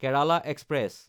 Kerala express